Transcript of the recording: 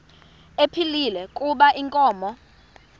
ephilile kuba inkomo